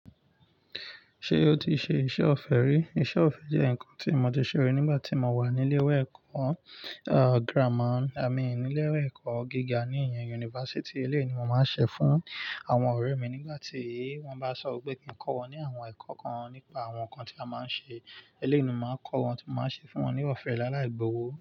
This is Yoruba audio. Ṣé o ti ṣe iṣẹ́ ọ̀fẹ́ rí? Iṣẹ́ ọ̀fẹ́ jẹ́ nǹkan tí mo ti ṣe rí nígbà tí mo wà ní ilé ìwé ẹ̀kọ́ gírámà. I mean, ní ilé ìwé ẹ̀kọ́ gíga ní ìyẹn yunifásítì, eléèyi mo máa ń ṣe fún àwọn ọ̀rẹ́ mi nígbà tí wọ́n bá sọ wípé kí n kọ́ wọn ní àwọn ẹ̀kọ́ kan nípa àwọn nǹkan tí a máa ń ṣe, eléyi ni mo máa kọ́ wọn tí mo máa ṣe fún wọn ní ọ̀fẹ́ láì láì gbówó.